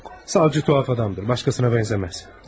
Savcı tuhaf adamdır, başqasına bənzəməz.